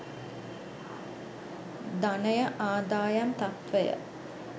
ධනය ආදායම් තත්ත්වය